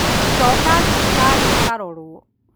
Coka thibitarĩ ũkarorwo